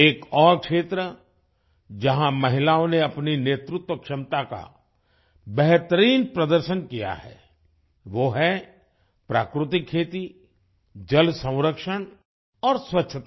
एक और क्षेत्र जहाँ महिलाओं ने अपनी नेतृत्व क्षमता का बेहतरीन प्रदर्शन किया है वो है प्राकृतिक खेती जल संरक्षण और स्वच्छता